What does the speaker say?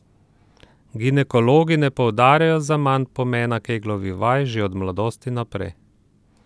Ginekologi ne poudarjajo zaman pomena keglovih vaj že od mladosti naprej!